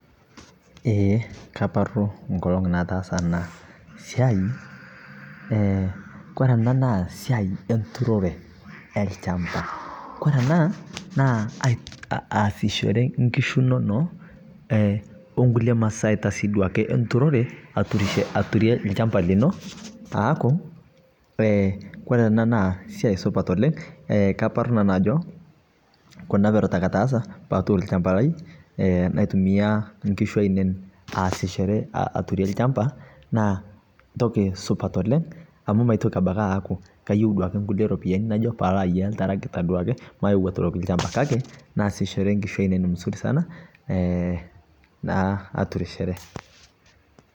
ee kaparu nkolong nataasa ana siai kore ana naa siai enturore elchampa kore anaa naa aasichore nkishu inonoo onkulie masaita enturore aturie lshampa lino aaku kore anaa naa siai supat oleng kaparu nanuu ajoo kuna perot ake ataasa paatur lshampa lai naitumia nkishu ainen aasichore aturie lshampa naa ntoki supat oleng amu maitoki abaki aaaku kayeu duake nkulie ropiyani najo paalo aiyaa ltaragita duake mayeu aturoki lshampa kake naasichore nkishu ainen muzuri sana naa aturisheree